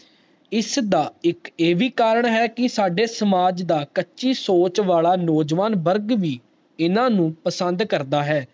ਇਸ ਦਾ ਇਕ ਇਹ ਵੀ ਕਾਰਨ ਹੈ ਕਿ ਸਾਡੇ ਸਮਾਜ ਦਾ ਕੱਚੀ ਸੋਚ ਵਾਲਾ ਨੋ ਜਵਾਨ ਵਰਗ ਵੀ ਇੰਨਾ ਨੂੰ ਓਪਸੰਦ ਕਰਦਾ ਹੈ